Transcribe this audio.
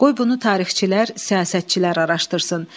Qoy bunu tarixçilər, siyasətçilər araşdırsın.